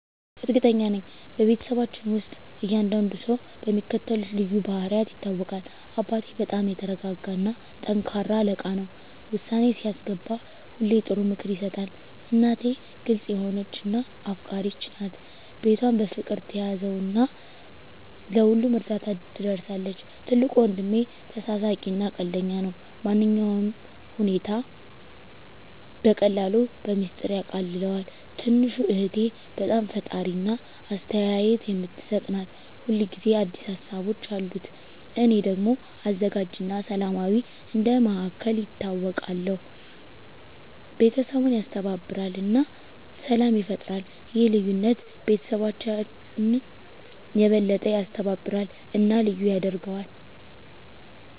እርግጠኛ ነኝ፤ በቤተሰባችን ውስጥ እያንዳንዱ ሰው በሚከተሉት ልዩ ባህሪያት ይታወቃል - አባቴ በጣም የተረጋጋ እና ጠንካራ አለቃ ነው። ውሳኔ ሲያስገባ ሁሌ ጥሩ ምክር ይሰጣል። **እናቴ** ግልጽ የሆነች እና አፍቃሪች ናት። ቤቷን በፍቅር ትያዘው እና ለሁሉም እርዳታ ትደርሳለች። **ትልቁ ወንድሜ** ተሳሳቂ እና ቀልደኛ ነው። ማንኛውንም ሁኔታ በቀላሉ በሚስጥር ያቃልለዋል። **ትንሹ እህቴ** በጣም ፈጣሪ እና አስተያየት የምትሰጥ ናት። ሁል ጊዜ አዲስ ሀሳቦች አሉት። **እኔ** ደግሞ አዘጋጅ እና ሰላማዊ እንደ መሃከል ይታወቃለሁ። ቤተሰቡን ያስተባብራል እና ሰላም ይፈጥራል። ይህ ልዩነት ቤተሰባችንን የበለጠ ያስተባብራል እና ልዩ ያደርገዋል።